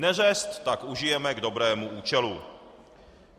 Neřest tak užijeme k dobrému účelu.